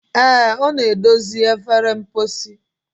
Ee, ọ na-edozi efere mposi.